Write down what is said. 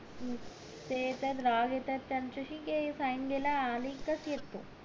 ते तर राग येतात त्याच्याशी sign घायला अली कशी तू